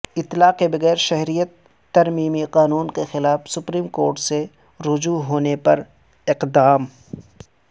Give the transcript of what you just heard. اطلاع کے بغیر شہریت ترمیمی قانون کے خلاف سپریم کورٹ سے رجوع ہونے پر اقدام